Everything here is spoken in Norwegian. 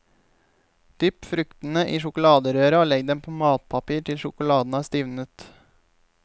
Dypp fruktene i sjokoladerøra og legg dem på matpapir til sjokoladen har stivnet.